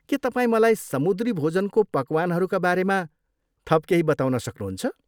के तपाईँ मलाई समुद्री भोजनको पकवानहरूका बारेमा थप केही बताउन सक्नुहुन्छ?